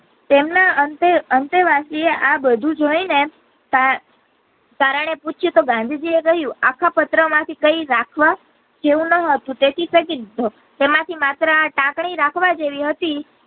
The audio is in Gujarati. તેમના અંતે અંતે વાંચી ને આ બધું જોય ને તારણે પૂછ્યું કે ગાંધીજી એ કહીંયુ આખા પત્ર માંથી કઈ રાખવા જેવું ન હતું તેથી ફેંકી દીધો તેમાંથી માત્ર આ ટાંકણી રાખવા જેવી હતી.